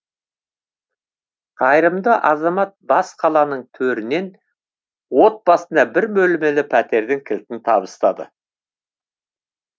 қайырымды азамат бас қаланың төрінен отбасына бір бөлмелі пәтердің кілтін табыстады